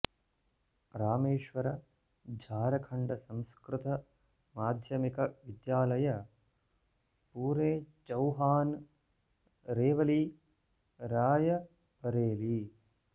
रामेश्वर झारखण्ड संस्कृत माध्यमिक विद्यालय पूरे चैहान रेवली रायबरेली